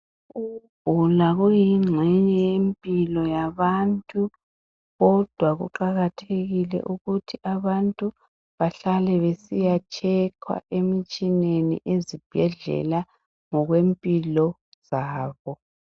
Ukugula kuyingxenye yempilo yabantu kodwa kuqakathekile ukuthi abantu behlale besiya tshekhwa emitshineni ezibhedlela ngokwempilo zabo